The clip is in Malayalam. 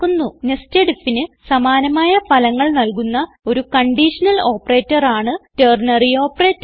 nested ഐഎഫ് ന് സമാനമായ ഫലങ്ങൾ നൽകുന്ന ഒരു കൺഡിഷനൽ ഓപ്പറേറ്റർ ആണ് ടെർണറി ഓപ്പറേറ്റർ